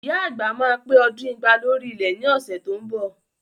Ìyá àgbà máa pé ọdún igba lórí ilẹ̀ ni ọ̀sẹ̀ tó ń bọ̀